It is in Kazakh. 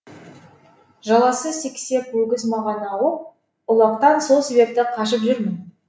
жаласы сексеп өгіз маған ауып ұлақтан сол себепті қашып жүрмін